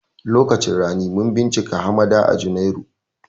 Lokacin rani mun bincika hamada a janairu